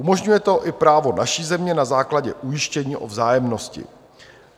Umožňuje to i právo naší země na základě ujištění o vzájemnosti.